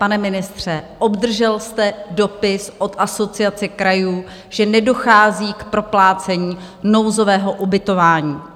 Pane ministře, obdržel jste dopis od Asociace krajů, že nedochází k proplácení nouzového ubytování?